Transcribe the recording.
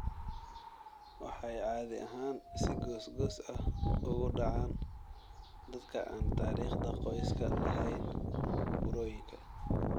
Waxay caadi ahaan si goos-goos ah ugu dhacaan dadka aan taariikhda qoyska lahayn burooyinka.